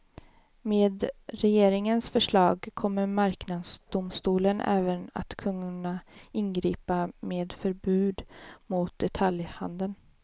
Med regeringens förslag kommer marknadsdomstolen även att kunna ingripa med förbud mot detaljhandeln.